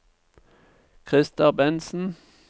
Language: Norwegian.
Christer Bentsen